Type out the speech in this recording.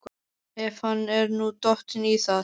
Ef hann er nú dottinn í það?